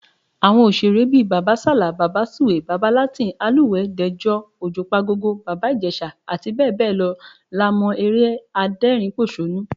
Àwọn òṣèré bíi Bàbá Sàlá, Bàbá Sùwé, Bàbá Latin, Alúwẹ̀ẹ́, Dẹ̀jọ, Òjùpagogo, Bàbá Ìjẹ̀ṣà, abbl. la mọ́ eré adẹ́rìnínpòṣónú